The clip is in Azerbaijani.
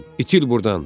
İtir buradan.